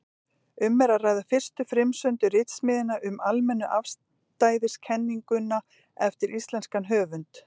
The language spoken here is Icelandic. Um er að ræða fyrstu frumsömdu ritsmíðina um almennu afstæðiskenninguna eftir íslenskan höfund.